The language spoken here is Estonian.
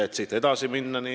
Siit saab edasi minna.